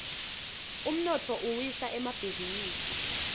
umnotfo uwisa emabhisinisi